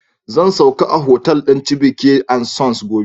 Zan sauka a hotal din Chibyke and Sons gobe